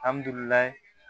Alihamdullilaye